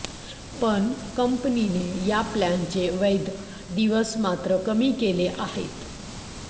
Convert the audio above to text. पण कंपनीने या प्लॅनचे वैध दिवस मात्र कमी केले आहेत